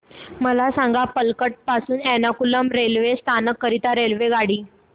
मला सांग पलक्कड पासून एर्नाकुलम रेल्वे स्थानक करीता रेल्वेगाडी